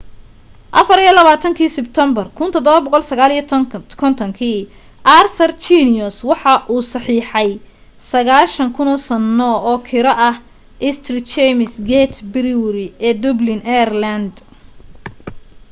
24-ki sebtembar 1759 arthur guinness waxa uu saxiixey 9,000 sano oo kiro ah st james' gate brewery ee dublin ireland